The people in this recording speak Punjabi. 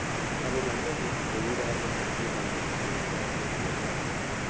ਤੁਹਾਨੂੰ ਲੱਗਦਾ ਹੈ ਕਿ ਉਹ COVID ਆਇਆ ਤੇ ਉਹ company ਬੰਦ ਹੋ ਜਾਊਗੀ ਉਹਨੇ ਆਪਣੇ employee ਕੱਢ ਦਿੱਤੇ ਹੋਣੇ,